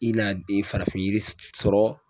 I n'a den farafin yiri sɔrɔ